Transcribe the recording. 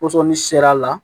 Pɔsɔni seri a la